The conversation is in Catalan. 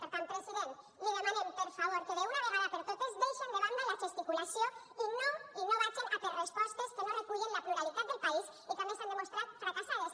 per tant president li demanem per favor que d’una vegada per totes deixen de banda la gesticulació i no i no vagen a per respostes que no recullen la pluralitat del país i que a més s’han demostrat fracassades